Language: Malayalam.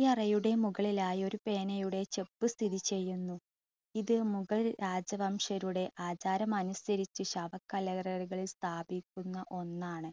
ഈ അറയുടെ മുകളിലായി ഒരു pen യുടെ സ്ഥിതി ചെയ്യുന്നു. ഇത് മുഗൾ രാജവംശജരുടെ ആചാരമനുസരിച്ച് ശവകല്ലറകളിൽ സ്ഥാപിക്കുന്ന ഒന്നാണ്.